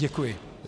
Děkuji.